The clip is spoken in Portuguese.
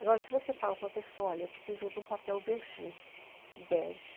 Agora, se você fala para uma pessoa, olha, eu preciso de um papel verge, bege,